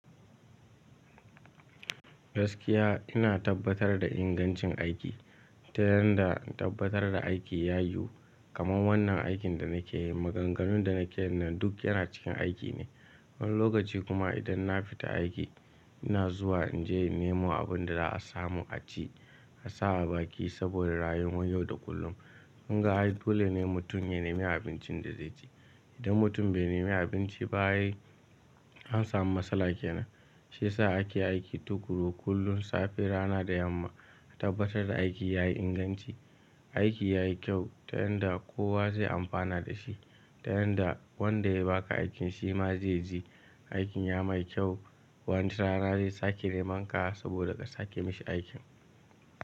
Gaskiya ina tabbatar da ingancin aiki ta yanda in tabbatar da aiki yayi yu. Kaman wannan aikin da nake yi, maganganun da nake yin nan duk yana cikin aiki ne. Wani lokaci kuma idan na fita aiki, ina zuwa in je in nemo abin da za a samu a ci, a sa a baki saboda rayuwan yau da kullum. Kunga ai dole ne mutum ya nemi abincin da zai ci. Idan mutum bai nemi abinci ba ai an samu matsala kenan. Shi ya sa ake aiki tuƙuru kullum, safe, rana da yamma, a tabbatar da aiki yayi inganci. Aiki yayi kyau ta yanda kowa zai amfana da shi. Ta yanda wanda ya ba ka aikin shi ma zai ji aikin ya mai kyau. Wani rana zai sake neman ka saboda ka sake mashi aikin.